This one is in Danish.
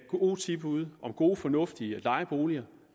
gode tilbud om gode og fornuftige lejeboliger